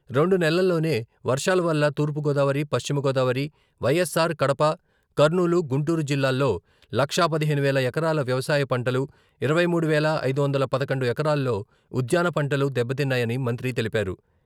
రెండు నెలల్లోనే వర్షాల వల్ల తూర్పుగోదావరి, పశ్చిమగోదావరి, వైఎస్ఆర్ కడప, కర్నూలు, గుంటూరు జిల్లాల్లో లక్షా పదిహేను వేల ఎకరాల వ్యవసాయ పంటలు, ఇరవై మూడు వేల ఐదు వందల పదకొండు ఎకరాల్లో ఉద్యాన పంటలు దెబ్బతిన్నాయని మంత్రి తెలిపారు.